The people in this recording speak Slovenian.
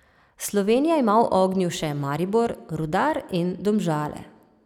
Slovenija ima v ognju še Maribor, Rudar in Domžale.